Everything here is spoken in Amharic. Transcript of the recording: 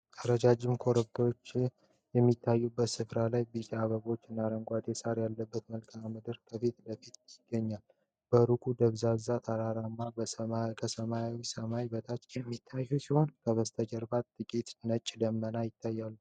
ረጃጅም ተራራዎችና ኮረብታዎች በሚታዩበት ስፍራ ላይ፣ ቢጫ አበቦች እና አረንጓዴ ሳር ያለበት መልክዓ ምድር ከፊት ለፊት ይገኛል። በሩቁ ደብዛዛ ተራራዎች ከሰማያዊው ሰማይ በታች የሚታዩ ሲሆን፣ ከበስተጀርባ ጥቂት ነጭ ደመናዎች ይታያሉ።